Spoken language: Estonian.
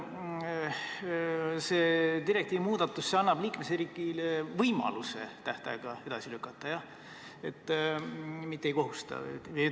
Kas see direktiivi muudatus annab liikmesriigile võimaluse tähtaega edasi lükata, mitte ei kohusta?